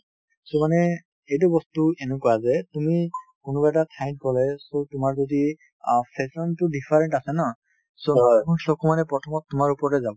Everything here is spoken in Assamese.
কিছুমানে এইটো বস্তু এনেকুৱা যে তুমি কোনোবা এটা ঠাইত গ'লে so তোমাৰ যদি অ fashion তো different আছে ন চকু মোৰ চকু মানে প্ৰথমত তোমাৰ ওপৰতে যাব